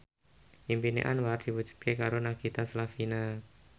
impine Anwar diwujudke karo Nagita Slavina